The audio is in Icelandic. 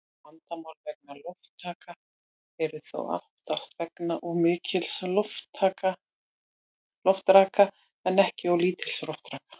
Vandamál vegna loftraka eru þó oftast vegna of mikils loftraka en ekki of lítils loftraka.